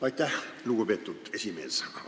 Aitäh, lugupeetud esimees!